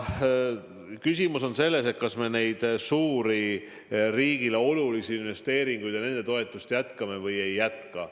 Küsimus on ka selles, kas me neid suuri riigile olulisi investeeringuid, seda toetust jätkame või ei jätka.